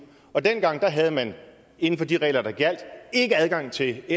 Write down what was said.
og dengang havde man inden for de regler der er gjaldt ikke adgang til